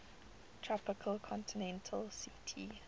tropical continental ct